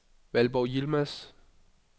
Valborg Yilmaz